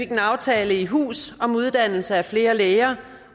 en aftale i hus om uddannelse af flere læger